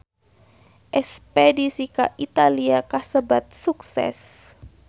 Espedisi ka Italia kasebat sukses